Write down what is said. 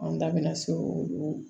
An da bɛna se olu ma